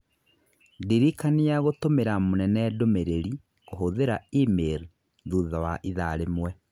Ndirikania gũtũmĩra mũnene ndũmĩrĩri kũhũthĩra e-mail thutha wa ithaa rĩmwe.